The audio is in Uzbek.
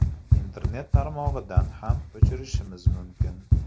Internet tarmog‘idan ham o‘chirishimiz mumkin.